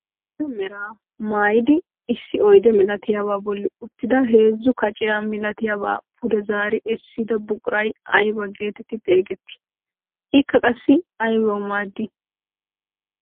Karetta meraa maayidi issi oyde milatiyaabaa bolli uttida heezzu kaciyaa milatiyaaba pude zaari essida buquray aybaa getetti xeegettii? ikka qassi aybawu maaddii?